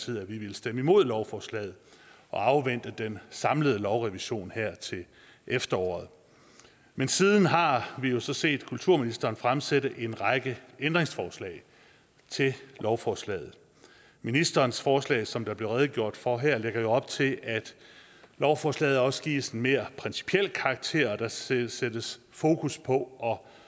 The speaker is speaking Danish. vi ville stemme imod lovforslaget og afvente den samlede lovrevision her til efteråret men siden har har vi jo så set kulturministeren fremsætte en række ændringsforslag til lovforslaget ministerens forslag som der blev redegjort for her lægger op til at lovforslaget også gives en mere principiel karakter og der sættes sættes fokus på